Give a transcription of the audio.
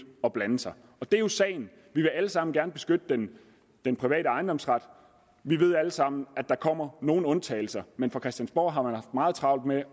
at blande sig og det er jo sagen vi vil alle sammen gerne beskytte den den private ejendomsret vi ved alle sammen at der kommer nogle undtagelser men fra christiansborg har man haft meget travlt med